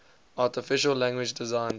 artificial language designed